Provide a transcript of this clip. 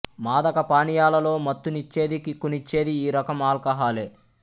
మాదక పానీయాలలో మత్తునిచ్చేది కిక్కు నిచ్చేది ఈ రకం ఆల్కహాలే